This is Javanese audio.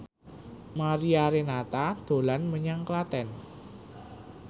Mariana Renata dolan menyang Klaten